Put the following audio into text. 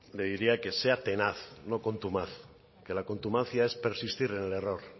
le diría que sea tenaz no contumaz que la contumacia es persistir en el error